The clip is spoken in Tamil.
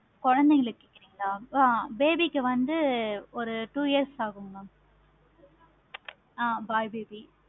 குழந்தைகளுக்கு கேட்குறீங்களா? ஆஹ் baby க்கு வந்து ஒரு two years ஆகும் mam ஆஹ் boy baby